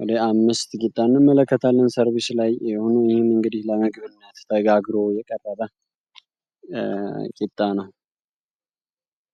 ወደ አምስት ቂጣ እንመለከታለን። ሰርቢስ ላይ የሆነ ይምህም እንግዲህ ለምግብነት ተጋግሮ የቀረበ ቂጣ ነው።